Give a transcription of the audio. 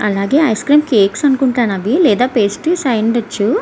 అలాగే ice cream cakes అనుకుంటాను అవి లేదా ఫ్రెష్ ఐవుండొచ్చు.